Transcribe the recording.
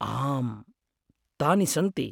आम्, तानि सन्ति।